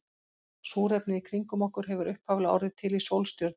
Súrefnið í kringum okkur hefur upphaflega orðið til í sólstjörnum.